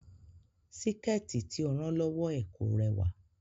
Síkẹ̀tí tí ó rán lọ́wọ́ ẹ̀ kò rẹwà